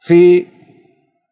ты